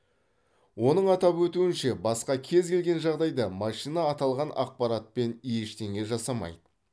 оның атап өтуінше басқа кез келген жағдайда машина аталған ақпаратпен ештеңе жасамайды